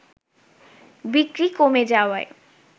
বিক্রি কমে যাওয়ায়